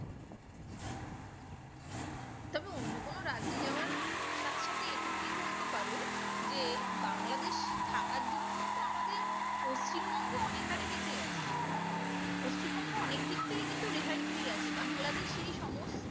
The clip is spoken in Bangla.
তবে অন্য কোনো রাজ্যে যাওয়ার সাথে সাথে এটুকুনই বলতে পারো যে বাংলাদেশ থাকার জন্য কিন্তু আমাদের পশ্চিমবঙ্গ অনেক হারে বেঁচে গেছে পশ্চিমবঙ্গ অনেক দিক থেকে কিন্তু রেহাই পেয়ে গেছে বাংলাদেশ সে সমস্ত